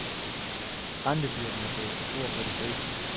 Rentebyrden blev for stor for de fleste.